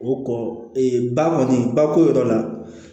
O kɔ ba kɔni ba ko yɔrɔ la